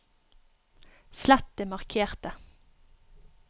slett det markete